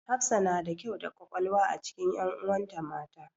Hafsa na da kyau da ƙwaƙwalwa a cikin ƴanuwan ta mata.